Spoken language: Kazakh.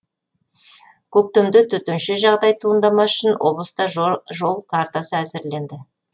көктемде төтенше жағдай туындамас үшін облыста жол картасы әзірленді